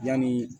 Yani